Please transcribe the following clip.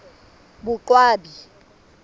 boqwabi